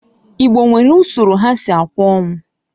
Igbo nwere usoro ha si akwa onwu.